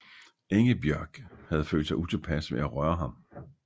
Ingebjörg havde følt sig utilpas ved at røre ham